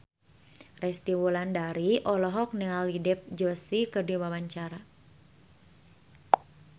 Resty Wulandari olohok ningali Dev Joshi keur diwawancara